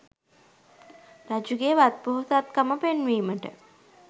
රජුගේ වත්පොහොසත්කම පෙන්වීමට